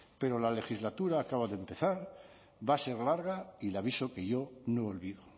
pero la legislatura acaba de empezar va a ser larga y le avisó que yo no olvido